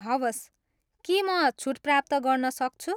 हवस्, के म छुट प्राप्त गर्न सक्छु?